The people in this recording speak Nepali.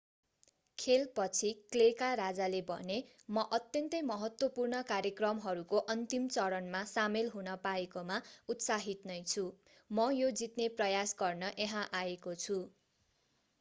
खेलपछि क्लेका राजाले भने म अत्यन्तै महत्त्वपूर्ण कार्यक्रमहरूको अन्तिम चरणमा सामेल हुन पाएकोमा उत्साहित नै छु म यो जित्ने प्रयास गर्न यहाँ आएको छु